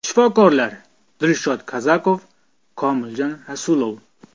Shifokorlar: Dilshod Kazakov, Komiljon Rasulov.